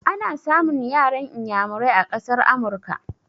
Ana samun yaran iyamurai a ƙasar Amurka.